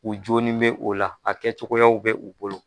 U jooni bɛ o la, a kɛ cogoyaw bɛ u bolo